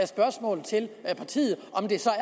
spørgsmål til partiet om det så er